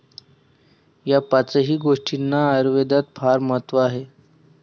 या पाचही गोष्टींना आयुर्वेदात फार महत्व आहे.